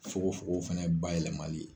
Fokon fokon fɛnɛ bayɛlɛma li ye.